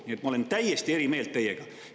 Nii et ma olen täiesti eri meelt kui teie.